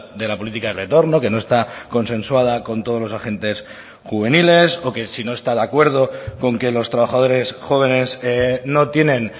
de la política de retorno que no está consensuada con todos los agentes juveniles o que si no está de acuerdo con que los trabajadores jóvenes no tienen